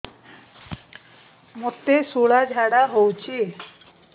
ମୋତେ ଶୂଳା ଝାଡ଼ା ହଉଚି